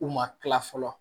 U ma kila fɔlɔ